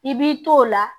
I b'i to o la